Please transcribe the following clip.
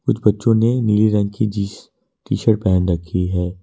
कुछ बच्चों ने नीली रंग की जींस टी_शर्ट पहन रखी है।